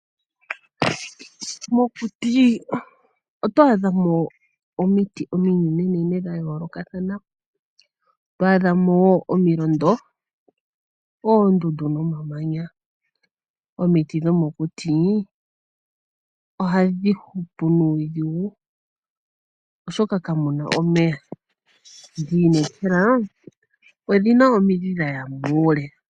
Mokuti oto adhamo omiiti ominene nene dha yolokathana. Otwa adha wo omilondo, oondundu nomamanya. Omiiti dhomokuti ohadhi hupu nuudhingu. Oshoka kamuna omeya. Ndi inekelwa odhina omiidhi dhaya muule.